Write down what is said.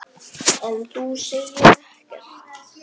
En þú segir ekkert.